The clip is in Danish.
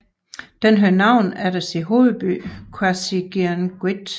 Den havde navn efter sin hovedby Qasigiannguit